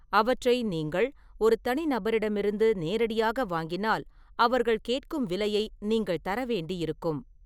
அவற்றை நீங்கள் ஒரு தனிநபரிடமிருந்து நேரடியாக வாங்கினால், அவர்கள் கேட்கும் விலையை நீங்கள் தரவேண்டி இருக்கும்.